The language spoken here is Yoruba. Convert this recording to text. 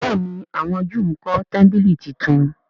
béèni àwọn júù nkó tẹmpili títún.